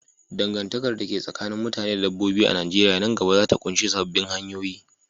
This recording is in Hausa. Dangantakar da ke tsakanin mutane da dabbobi a Najeriya nan gaba za ta ƙunshi sabbin hanyoyi.